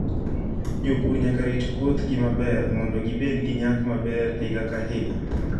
Jopur nyaka rit puothgi maber mondo gibed gi nyak maber higa ka higa.